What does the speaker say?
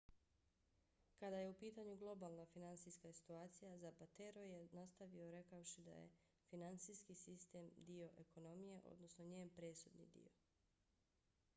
kada je u pitanju globalna finansijska situacija zapatero je nastavio rekavši da je finansijski sistem dio ekonomije odnosno njen presudni dio.